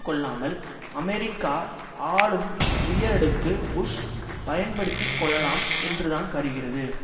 கொள்ளாமல் அமெரிக்கா ஆளும் உயரடுக்கு புஷ் பயன்படுத்தி கொள்ளலாம் என்றுதான் கருகிறது